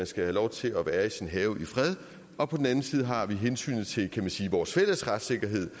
skal have lov til at være i sin have i fred og på den anden side har vi hensynet til vores fælles retssikkerhed